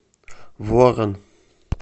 ворон